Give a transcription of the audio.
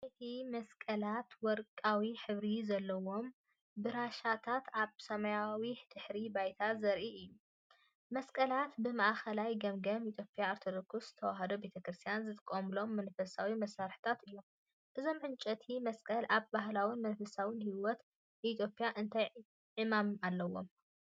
ዕንጨይቲ መስቀላትን ወርቃዊ ሕብሪ ዘለዎም ብራሻታትን ኣብ ሰማያዊ ድሕረ ባይታ ዘርኢ እዩ። መስቀላት ብማእከላይ ገምጋም ኢትዮጵያዊት ኦርቶዶክስ ተዋህዶ ቤተክርስትያን ዝጥቀመሎም መንፈሳዊ መሳርሒታት እዮም። እዞም ዕንጨይቲ መስቀላት ኣብ ባህላዊ መንፈሳዊ ህይወት ኢትዮጵያ እንታይ ዕማም ኣለዎም?